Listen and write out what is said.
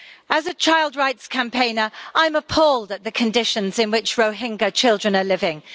As a child rights campaigner, I'm appalled at the conditions in which Rohingya children are living.